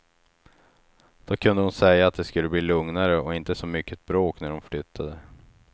Då kunde hon säga att det skulle bli lugnare och inte så mycket bråk när hon flyttade.